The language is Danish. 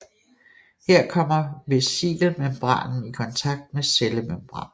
Her kommer vesikelmembranen i kontakt med cellemembranen